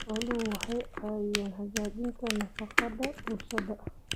Xooluhu waxay caawiyaan hagaajinta nafaqada bulshada.